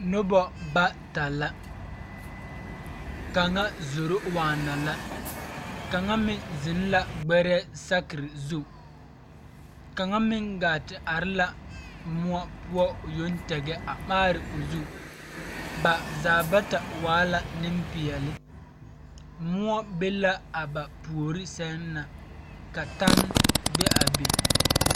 Noba bata la kaŋa zoro waana la kaŋa meŋ zeŋ la ɡbɛrɛɛ saakere zu kaŋa meŋ ɡaa te are la moɔ poɔ o yoŋ tɛŋɛ a maare o zu ba zaa bata waa la nempeɛle moɔ be la a ba puori sɛŋ na ka tane be a be.